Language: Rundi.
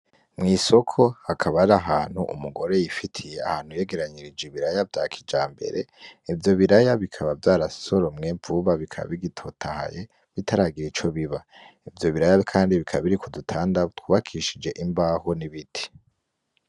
Mw'isoko hakaba har'ahantu umugore yifitiye ahantu yegeranirije ibiraya vya kijambere ,ivyo biraya bikaba vyarasoromwe vuba bikaba bigitotahaye bitaragira ico biba. ivyo biraya kandi bikaba biri kudu tanda twubakishijwe imbaho n'ibiti.